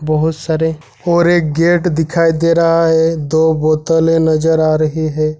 बहुत सारे और एक गेट दिखाई दे रहा है दो बोतल नजर आ रही है।